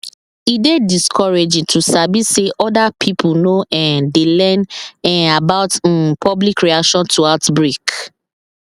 e dey discouraging to sabi say other pipo no um dey learn um about um public reaction to outbreak